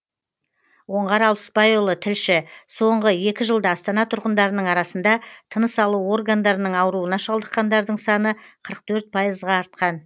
оңғар алпысбайұлы тілші соңғы екі жылда астана тұрғындарының арасында тыныс алу органдарының ауруына шалдыққандардың саны қырық төрт пайызға артқан